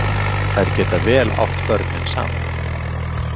Þær geta vel átt börnin saman.